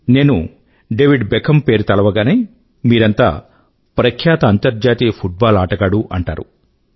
నేను David Beckham పేరు తలవగానే మీరంతా ప్రఖ్యాత అంతర్జాతీయ ఫుట్ బాల్ ఆటగాడు అంటారు